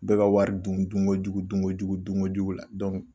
Bɛɛ wari dun dunkojugu dunkojugu dunkojugu la